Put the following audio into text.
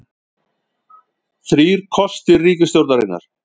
Þrír kostir ríkisstjórnarinnar